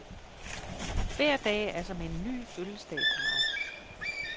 Hver dag er som en ny fødselsdag for mig.